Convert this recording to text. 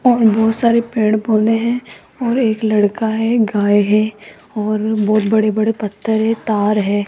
और बहुत सारे पेड़ पौधे हैं और एक लड़का है गाय है और बहुत बड़े बड़े पत्थर है तार है।